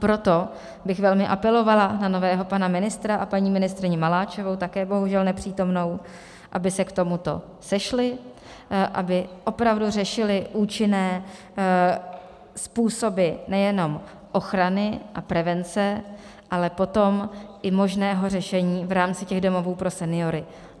Proto bych velmi apelovala na nového pana ministra a paní ministryni Maláčovou, také bohužel nepřítomnou, aby se k tomuto sešli, aby opravdu řešili účinné způsoby nejenom ochrany a prevence, ale potom i možného řešení v rámci těch domovů pro seniory.